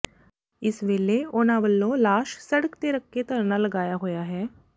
ਇਸ ਵੇਲੇ ਉਨਾਂ ਵਲੋਂ ਲਾਸ਼ ਸੜਕ ਤੇ ਰਖ ਕੇ ਧਰਨਾ ਲਗਾਇਆ ਹੋਇਆ ਹੈ